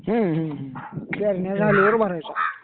हम्म हम्म. पेरण्या झाल्यावर भरायचा.